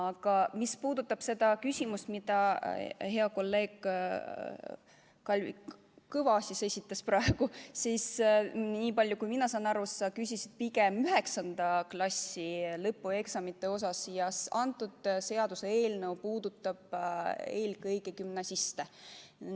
Aga mis puudutab seda küsimust, mille hea kolleeg Kalvi Kõva praegu esitas, siis nii palju, kui mina aru saan, sa küsisid pigem 9. klassi lõpueksamite kohta, aga see seaduseelnõu puudutab eelkõige gümnasiste.